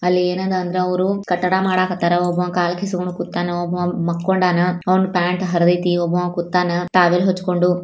ಅಲ್ಲಿ ಏನನ ಅಂದ್ರೆ ಅವ್ರು ಕಟ್ಟಡ ಮಾಡಕತಾರ ಒಬ್ಬ ಕಾಲ್ ಕಿಸ್ಕಂಡು ಕೂತ್ತಾನ ಒಬ್ಬ ಮಲ್ಕೊಂಡನಾ ಅವ್ನು ಪ್ಯಾಂಟ್ ಹರದೈತಿ ಒಬ್ಬ ಕುತನ ಟವಲ್ ಹಚ್ಚಿಕೊಂಡು.